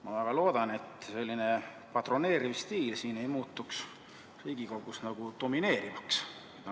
Ma väga loodan, et selline patroneeriv stiil siin Riigikogus ei muutu domineerivaks.